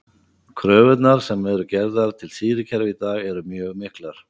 Kröfurnar sem gerðar eru til stýrikerfa í dag eru mjög miklar.